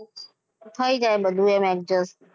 થઈ જાય બધું adjust એમ.